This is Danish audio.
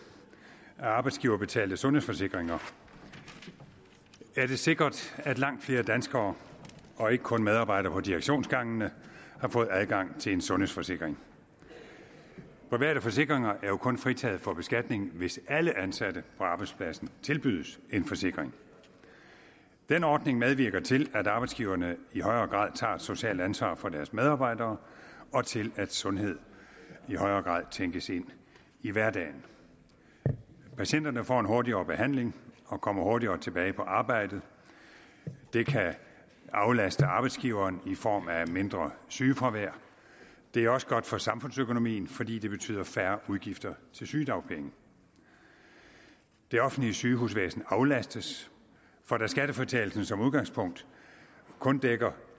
af arbejdsgiverbetalte sundhedsforsikringer er det sikkert at langt flere danskere og ikke kun medarbejdere på direktionsgangene har fået adgang til en sundhedsforsikring private forsikringer er jo kun fritaget for beskatning hvis alle ansatte på arbejdspladsen tilbydes en forsikring den ordning medvirker til at arbejdsgiverne i højere grad tager et socialt ansvar for deres medarbejdere og til at sundhed i højere grad tænkes ind i hverdagen patienterne får en hurtigere behandling og kommer hurtigere tilbage på arbejdet og det kan aflaste arbejdsgiveren i form af mindre sygefravær det er også godt for samfundsøkonomien fordi det betyder færre udgifter til sygedagpenge det offentlige sygehusvæsen aflastes for da skattefritagelsen som udgangspunkt kun dækker